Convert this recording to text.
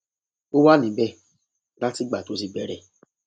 ó wà níbẹ láti ìgbà tó ti bẹrẹ